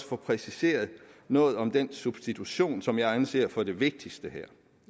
få præciseret noget om den substitution som jeg anser for det vigtigste her